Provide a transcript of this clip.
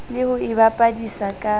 le ho e bapadisa ka